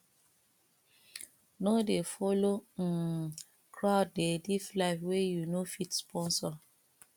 no dey folo um crowd dey live life wey you no fit sponsor